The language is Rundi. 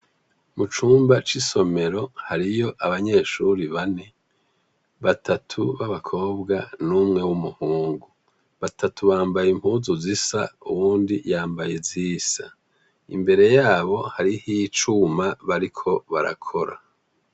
Mucumba cisomero hariyo abanyeshure bane batatu babakobwa n'umwe w'umuhungu batatu bambaye impuzu zisa uwundi yambaye izisa imbere yabo hariho icuma bariko barakora.